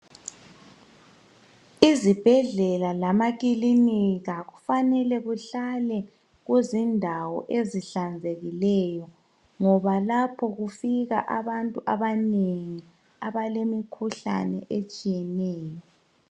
Izibhedlela lama kilinika kufanele kuhlale kuzindawo ezihlanzekileyo ngoba lapho kufika abantu abanengi abalemikhuhlane etshiyeneyo.